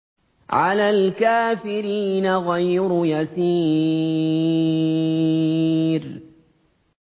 عَلَى الْكَافِرِينَ غَيْرُ يَسِيرٍ